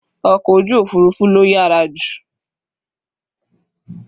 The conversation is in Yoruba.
Ọkọ̀ ojú òfurufú ló yàrá jù.